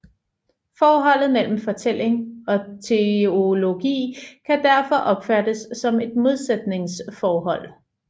Forholdet mellem fortælling og teologi kan derfor opfattes som et modsætningsforhold